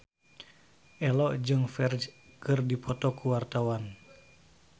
Ello jeung Ferdge keur dipoto ku wartawan